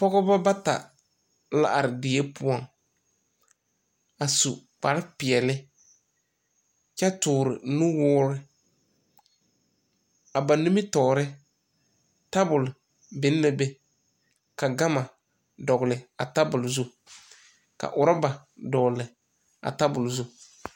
Pɔgɔbɔ bata la are die poʊŋ a su kpar piɛle kyɛ toore nuwure. A ba nimitɔɔre, tabul bin na be . Ka gama dogle a tabul zu. Ka uraba dogle a tabul zu